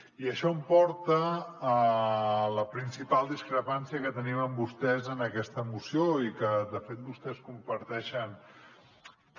i això em porta a la principal discrepància que tenim amb vostès en aquesta moció i que de fet vostès comparteixen també